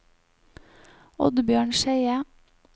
Oddbjørn Skeie